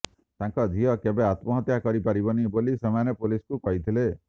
ତାଙ୍କ ଝିଅ କେବେ ଆତ୍ମହତ୍ୟା କରିପାରିବନି ବୋଲି ସେମାନେ ପୋଲିସକୁ କହିଥିଲେ